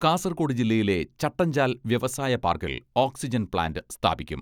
കാസർകോട് ജില്ലയിലെ ചട്ടഞ്ചാൽ വ്യവസായ പാർക്കിൽ ഓക്സിജൻ പ്ലാന്റ് സ്ഥാപിക്കും.